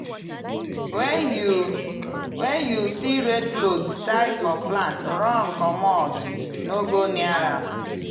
when you when you see red cloth tie for plant run comot - no go near am!